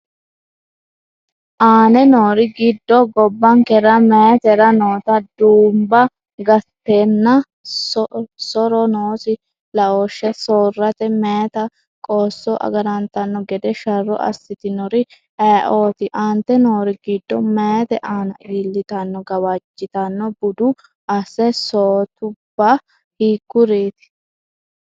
Aane noori giddo gobbankera meyaatera noota duumba gatanna so’ro noosi laooshshe soorrate meyaate qoosso agarantanno gede sharro assitinori ayeooti? Aante noori giddo meyaate aana iillitanno gawajjitanno budu as- sootubba hiikkoreeti?